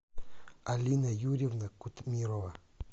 алина юрьевна кутмирова